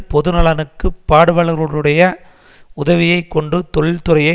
பொதுநலனுக்கு பாடுபவர்களுடைய உதவியை கொண்டு தொழிற்துறையை